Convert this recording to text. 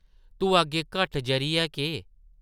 तूं अग्गें घट्ट जरी ऐ केह् ?